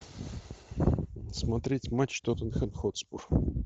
смотреть матч тоттенхэм хотспур